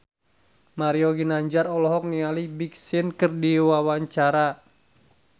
Mario Ginanjar olohok ningali Big Sean keur diwawancara